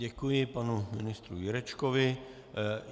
Děkuji panu ministru Jurečkovi.